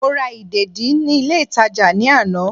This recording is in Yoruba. Mo ra ìdèdí ní ilé ìtàjà ní àná